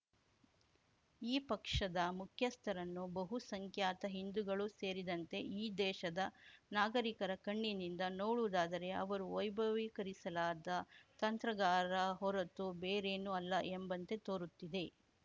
ಈ ಪಕ್ಷದ ಮುಖ್ಯಸ್ಥರನ್ನು ಬಹುಸಂಖ್ಯಾತ ಹಿಂದುಗಳೂ ಸೇರಿದಂತೆ ಈ ದೇಶದ ನಾಗರಿಕರ ಕಣ್ಣಿನಿಂದ ನೋಡುವುದಾದರೆ ಅವರು ವೈಭವೀಕರಿಸಲಾದ ತಂತ್ರಗಾರ ಹೊರತು ಬೇರೇನೂ ಅಲ್ಲ ಎಂಬಂತೆ ತೋರುತ್ತಿದೆ